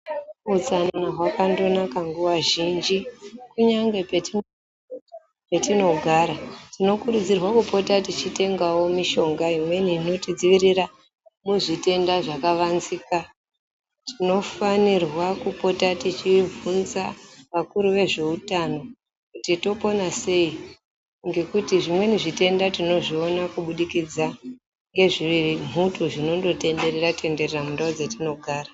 Utsanana hwakandonaka nguva zhinji, kunyangwe petinogara, tinokurudzirwa kupota teyitengawo mishonga imweni inotidzivirira muzvitenda zvakavanzika, tinofanirwa kupota tichibvunza vakuru vezveutano kuti topona sei ngekuti zvimweni zvitenda tinozviona kubudikidza ngezvembuto zvinongotenderera-tenderera mundau dzatinogara.